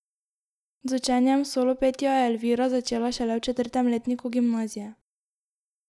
Z učenjem solopetja je Elvira začela šele v četrtem letniku gimnazije.